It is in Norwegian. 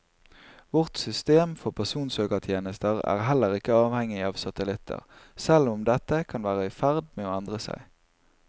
Vårt system for personsøkertjenester er heller ikke avhengig av satellitter, selv om dette kan være i ferd med å endre seg.